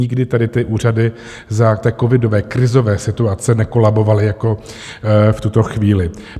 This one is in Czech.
Nikdy tady ty úřady za té covidové krizové situace nekolabovaly jako v tuto chvíli.